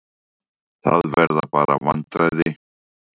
Það verða bara vandræði.